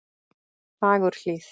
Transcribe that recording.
Fagurhlíð